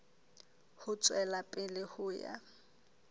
ho tswela pele ho ya